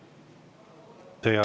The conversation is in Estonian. Teie aeg!